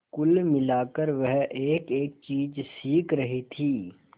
कुल मिलाकर वह एकएक चीज सीख रही थी